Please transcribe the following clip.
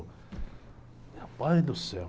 Meu pai do céu.